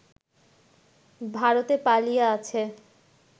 ভারতে পালিয়ে আছে